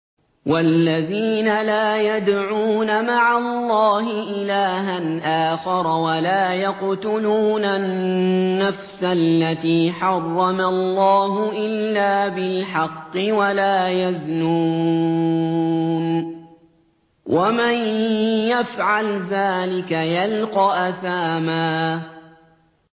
وَالَّذِينَ لَا يَدْعُونَ مَعَ اللَّهِ إِلَٰهًا آخَرَ وَلَا يَقْتُلُونَ النَّفْسَ الَّتِي حَرَّمَ اللَّهُ إِلَّا بِالْحَقِّ وَلَا يَزْنُونَ ۚ وَمَن يَفْعَلْ ذَٰلِكَ يَلْقَ أَثَامًا